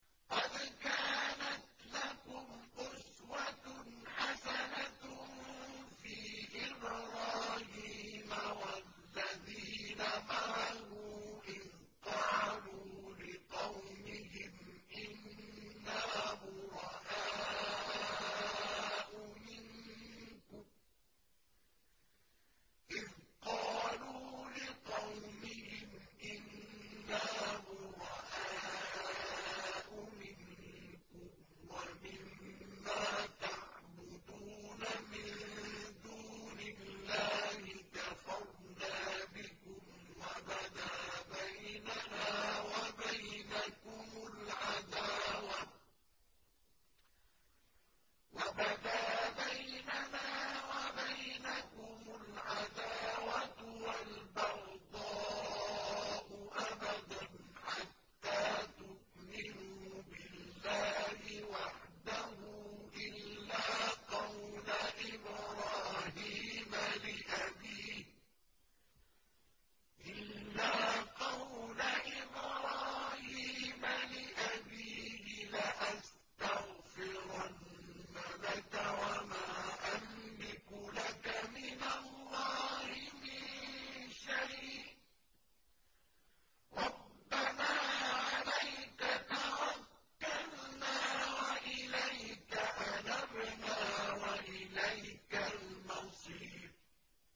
قَدْ كَانَتْ لَكُمْ أُسْوَةٌ حَسَنَةٌ فِي إِبْرَاهِيمَ وَالَّذِينَ مَعَهُ إِذْ قَالُوا لِقَوْمِهِمْ إِنَّا بُرَآءُ مِنكُمْ وَمِمَّا تَعْبُدُونَ مِن دُونِ اللَّهِ كَفَرْنَا بِكُمْ وَبَدَا بَيْنَنَا وَبَيْنَكُمُ الْعَدَاوَةُ وَالْبَغْضَاءُ أَبَدًا حَتَّىٰ تُؤْمِنُوا بِاللَّهِ وَحْدَهُ إِلَّا قَوْلَ إِبْرَاهِيمَ لِأَبِيهِ لَأَسْتَغْفِرَنَّ لَكَ وَمَا أَمْلِكُ لَكَ مِنَ اللَّهِ مِن شَيْءٍ ۖ رَّبَّنَا عَلَيْكَ تَوَكَّلْنَا وَإِلَيْكَ أَنَبْنَا وَإِلَيْكَ الْمَصِيرُ